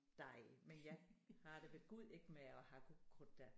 Dig men jeg har det ved gud ikke med at hakke ukrudt da